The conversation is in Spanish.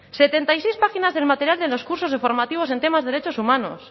setenta y seis páginas del material de los cursos formativos en temas de derechos humanos